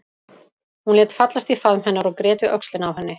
Hún lét fallast í faðm hennar og grét við öxlina á henni.